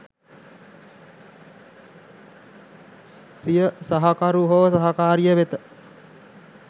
සිය සහකරු හෝ සහකාරිය වෙත